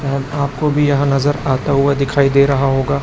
और आपको भी यहां नज़र आता हुआ दिखाई दे रहा होगा।